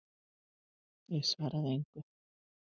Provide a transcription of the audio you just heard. Ég svaraði engu.